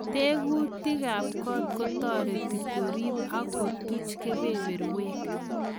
Tekutikab kot kotoreti korib ok kotuch keberberwek.